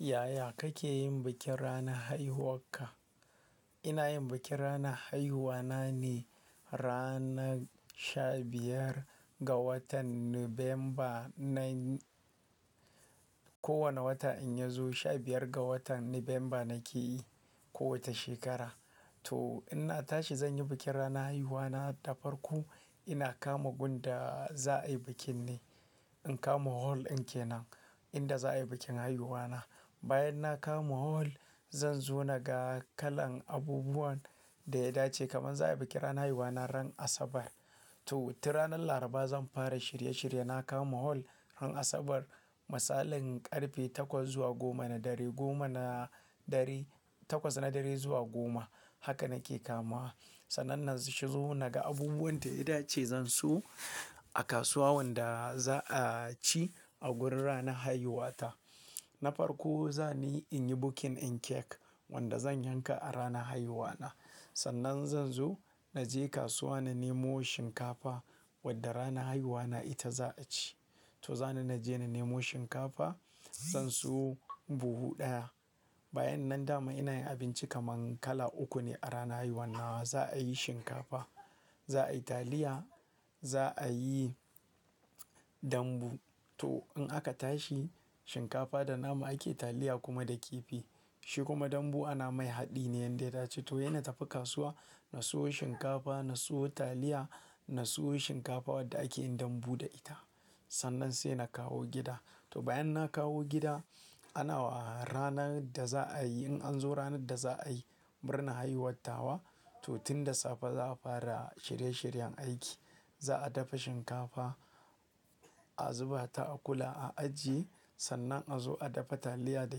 Yaya kake yin bikin ranar haihuwarka? Ina yin bikin ranar haihuwa na ne ranar sha biyar ga watan Nuvemba. Nan kowane wata in ya zo sha biyar ga watan Nuvemba nake yi kowace shekara. To ina tashi zan yi bikin ranar haihuwa na da farko ina kama gundaa za a yi bikin ne. In kama hol in ke nan inda za a yi bikin haihuwa na. Bayan na kama hol, zan zo na ga kalan abubuwan da ya dace. Kaman za a yi bikin ranar haihuwa na ran Asabar. To tun ranar Alharba zan fara shirye shirye. Na kama hol, ran Asabar, misalin karfe takwas zuwa goma na dare, goma na dare, takwas na dare zuwa goma haka nake kamawa. Sannan na shigo naga abubuwan da ya dace zan siyu a kasuwa wanda za a ci a wurin ranar haihuwa ta. Na farko za ni in yi booking in kek wanda zan yanka a ranar haihuwa na. Sannan zan zo naje kasuwa na nemo shinkafa wadda ranar haihuwa na ita za a ci. To za ni naje na nemo shinkafa, zan siyo buhu ɗaya. Bayan nan dama ina yin abinci kaman kala uku ne a ranar haihuwan. Za a yi shinkafa, za a yi taliya, za a yi dambu. To in aka tashi shinkafa da nama ake taliya kuma da kifi. Shi kuma dambu ana mai haɗi ne yanda ya dace. To yina tafi kasuwa, na siyo shinkafa, na siyo taliya, na siyo shinkafa wadda ake yin dambu da ita. Sannan sai na kawo gida. To bayan na kawo gida, ana wa ranar da za a yi in an zo ranar da za a yi murnar haihuwar tawa. To tun da safe za a fara shirye shiryen aiki. Za a dafa shinkafa, a zuba ta a kula a ajiye. Sannan a zo a dafa taliya da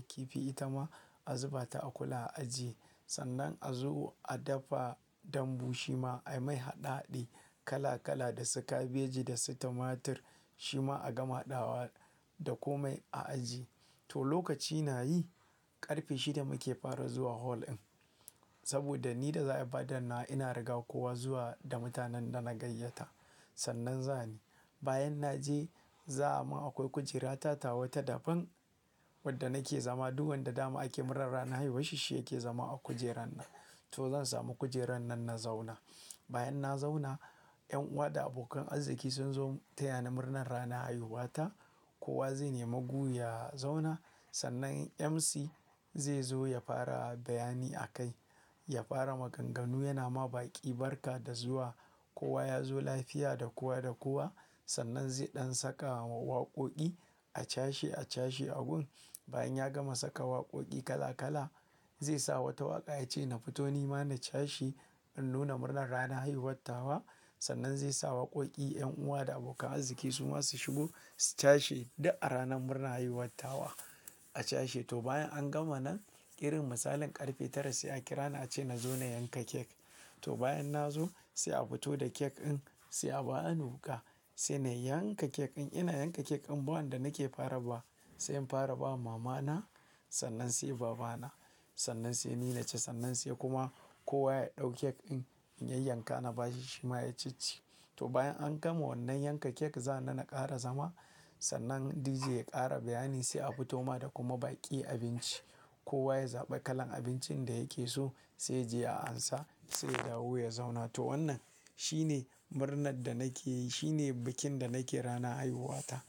kifi ita ma a zuba ta a kula a ajiye. Sannan a zo a dafa dambu shi ma ai mai haɗe haɗe kala kala da sikabeji da sitamatir shi ma a gama haɗawa da komai a ajiye. To lokaci na yi, ƙarfe shida muke fara zuwa hol ɗin. Saboda ni da za a yi faɗar na ina riga kowa zuwa da mutanen da na gayyata. Sannan za ni. Bayan na je za a ma akwai kujera ta tawa ta dafin wadda nake zama. Dukanda dama ake muran ranar haihuwa shi shi yake zama a kujerar nan. To zan samu kujerar nan na zauna. Bayan na zauna, yan uwa da abokan arziki sun zo taya ni murnar ranar haihuwa ta. Kowa zai nemo guyi ya zauna. Sannan MC zai zo ya fara bayani a kai. Ya fara maganganu yana ma baƙi barka da zuwa. Kowa ya zo lafiya da kowa da kowa. Sannan zai ɗan saka wa waƙoƙi a cashe a cashe a gun. Bayan ya gama saka waƙoƙi kala kala, zai sa wata waƙa yace na fito ni mana cashe in nuna murnar ranar haihuwar tawa. Sannan zai sa waƙoƙi yan uwa da abokan arziki su ma su shigo su cashe da a ranar murnar haihuwar tawa a cashe. To bayan an gama nan irin misalin ƙarfe tara sai a kira ni a ce na zo na yanka kek. To bayan na zo sai a fito da kek in sai a ba anuka. Sai na yanka kek in. Ina yanka kek in bawanda nake fara ba. Sai in fara ba mamana sannan sai babana sannan sai ni nache sannan sai kuma kowa ya ɗau kek in in ya yanka na bashi shi ma ya cicci. To bayan an gama wannan yanka kek za nane ƙara zama. Sannan DJ ya ƙara bayani sai a fito mana da kuma baƙi abinci. Kowa ya zaɓi kalan abincin da yake so sai ya je ya ansa sai ya dawo ya zauna. To wannan shine murnar da nake yi. Shine bikin da nake ranar haihuwa ta.